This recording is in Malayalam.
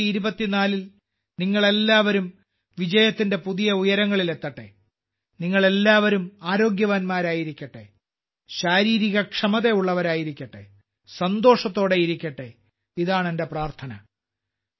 2024ൽ നിങ്ങളെല്ലാവരും വിജയത്തിന്റെ പുതിയ ഉയരങ്ങളിലെത്തട്ടെ നിങ്ങൾ എല്ലാവരും ആരോഗ്യവാന്മാരായിരിക്കട്ടെ ശാരീരികക്ഷമതയുള്ളവരായിരിക്കട്ടെ സന്തോഷത്തോടെയിരിക്കട്ടെ ഇതാണ് എന്റെ പ്രാർത്ഥന